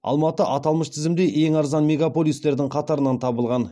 алматы аталмыш тізімде ең арзан мегаполистердің қатарынан табылған